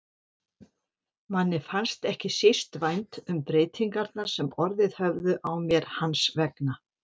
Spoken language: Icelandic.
Mér fannst ekki síst vænt um breytingarnar sem orðið höfðu á mér hans vegna.